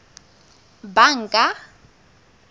banka